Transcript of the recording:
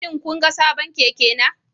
Shin kun ga sabon keke na?